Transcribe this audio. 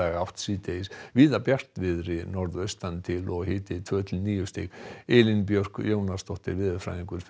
átt síðdegis víða bjartviðri norðaustan til og hiti tvö til níu stig Elín Björk Jónasdóttir veðurfræðingur fer